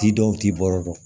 K'i denw t'i baro dɔn